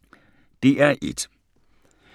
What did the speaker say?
DR1